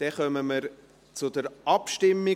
Dann kommen wir zur Abstimmung.